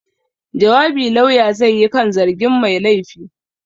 Jawabi Lauya zai yi kan zargin mai laifi.